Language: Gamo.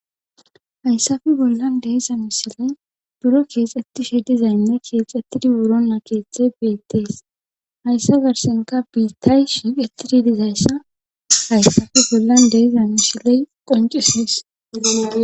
Hayssafe bollan de7iza misiley buro keexettishe diza Lynne keexettidi wurinna keethay beetteeshayssa garssankka biittay shiiqettidi dizayssa hayssafe bollan diza Misiley qonccisees.